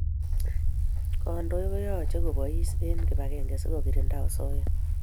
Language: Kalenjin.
Kandoi koyache kobais en kibakeng si kokirinda asoya